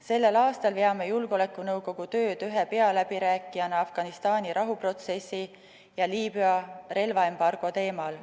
Sellel aastal veame julgeolekunõukogu tööd ühe pealäbirääkijana Afganistani rahuprotsessi ja Liibüa relvaembargo teemal.